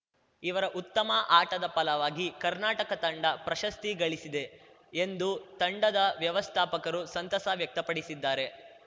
ಇವರ ಉತ್ತಮ ಆಟದ ಫಲವಾಗಿ ಕರ್ನಾಟಕ ತಂಡ ಪ್ರಶಸ್ತಿ ಗಳಿಸಿದೆ ಎಂದು ತಂಡದ ವ್ಯವಸ್ಥಾಪಕರು ಸಂತಸ ವ್ಯಕ್ತಪಡಿಸಿದ್ದಾರೆ